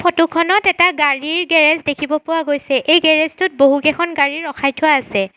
ফটোখনত এটা গাড়ীৰ গেৰেজ দেখিব পোৱা গৈছে এই গেৰেজটোত বহুকেইখন গাড়ী ৰখাই থোৱা আছে।